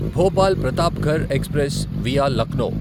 Bhopal Pratapgarh express via Lucknow